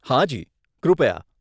હાજી, કૃપયા.